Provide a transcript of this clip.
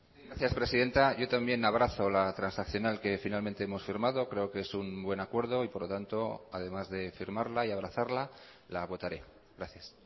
gracias presidenta yo también abrazo la transaccional que finalmente hemos firmado creo que es un buen acuerdo y por lo tanto además de firmarla y abrazarla la votaré gracias